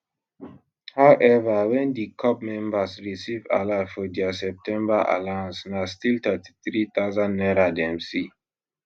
however wen di corp members receive alert for dia september allowance na still 33000 naira dem see